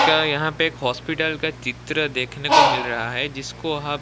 उनका यहां पे एक हॉस्पिटल का चित्र देखने को मिल रहा है जिसको हम--